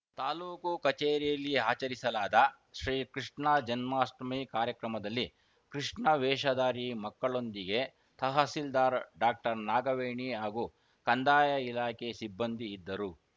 ತಾಲೂಕು ಕಚೇರಿಯಲ್ಲಿ ಆಚರಿಸಲಾದ ಶ್ರೀಕೃಷ್ಣಜನ್ಮಾಷ್ಠಮಿ ಕಾರ್ಯಕ್ರಮದಲ್ಲಿ ಕೃಷ್ಣವೇಷಧಾರಿ ಮಕ್ಕಳೊಂದಿಗೆ ತಹಸೀಲ್ದಾರ್‌ ಡಾಕ್ಟರ್ನಾಗವೇಣಿ ಹಾಗೂ ಕಂದಾಯ ಇಲಾಖೆ ಸಿಬ್ಬಂದಿ ಇದ್ದರು